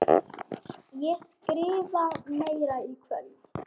Ég skrifa meira í kvöld.